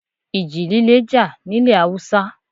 Ìji líle jà nílẹ̀ Haúsá.